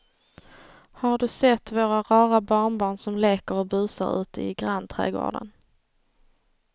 Har du sett våra rara barnbarn som leker och busar ute i grannträdgården!